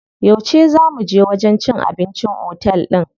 Yauce zaa muje wajen cin abincin otel din?